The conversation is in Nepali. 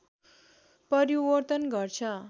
परिवर्तन गर्छ